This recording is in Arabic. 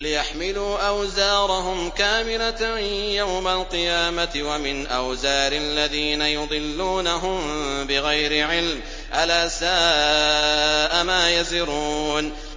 لِيَحْمِلُوا أَوْزَارَهُمْ كَامِلَةً يَوْمَ الْقِيَامَةِ ۙ وَمِنْ أَوْزَارِ الَّذِينَ يُضِلُّونَهُم بِغَيْرِ عِلْمٍ ۗ أَلَا سَاءَ مَا يَزِرُونَ